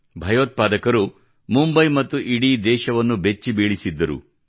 ಭಯೋತ್ಪಾದಕರು ಮುಂಬೈ ಮತ್ತು ಇಡೀ ದೇಶವನ್ನು ಬೆಚ್ಚಿಬೀಳಿಸಿದ್ದರು